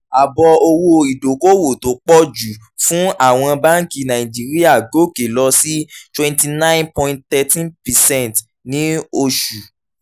ààbọ̀ owó ìdókòwò tó pọ̀ jù fún àwọn báńkì nàìjíríà gòkè lọ sí twenty nine point thirteen percent ní oṣù